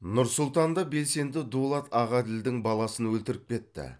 нұр сұлтанда белсенді дулат ағаділдің баласын өлтіріп кетті